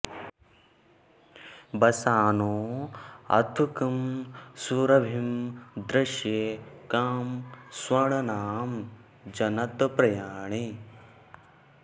वसानो अत्कं सुरभिं दृशे कं स्वर्ण नाम जनत प्रियाणि